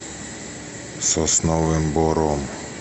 сосновым бором